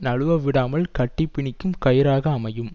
நழுவவிடாமல் கட்டிப்பிணிக்கும் கயிறாக அமையும்